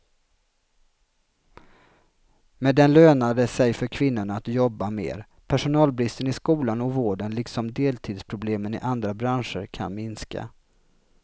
Med den lönar det sig för kvinnorna att jobba mer, personalbristen i skolan och vården liksom deltidsproblemen i andra branscher kan minska.